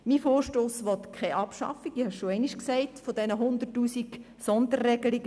Mein Vorstoss will keine Abschaffung dieser 100 000 Sonderregelungen, wie bereits gesagt.